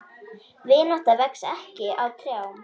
Vinátta vex ekki á trjám.